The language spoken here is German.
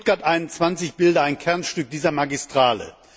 Stuttgart 21 bilde ein Kernstück dieser Magistrale.